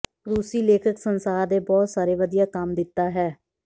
ਰੂਸੀ ਲੇਖਕ ਸੰਸਾਰ ਦੇ ਬਹੁਤ ਸਾਰੇ ਵਧੀਆ ਕੰਮ ਦਿੱਤਾ ਹੈ